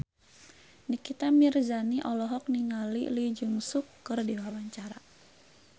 Nikita Mirzani olohok ningali Lee Jeong Suk keur diwawancara